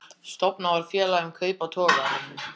Stofnað var félag um kaup á togaranum